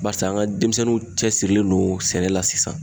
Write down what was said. Barisa an ka denmisɛnninw cɛsirilen don sɛnɛ la sisan